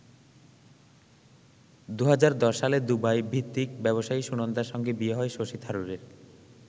২০১০ সালে দুবাইভিত্তিক ব্যবসায়ী সুনন্দার সঙ্গে বিয়ে হয় শশী থারুরের।